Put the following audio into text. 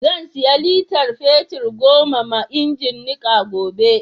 Za siya litar fetir goma ma ingin niƙa gobe.